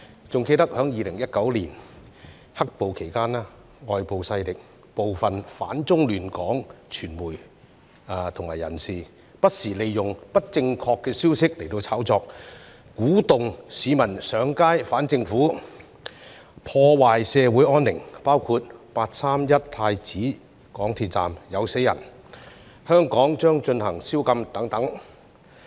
還記得在2019年"黑暴"期間，外部勢力、部分"反中亂港"的傳媒及人士，不時利用不正確的消息炒作，鼓動市民上街反政府，破壞社會安寧，包括"八三一"港鐵太子站有人死亡、香港將實施宵禁等。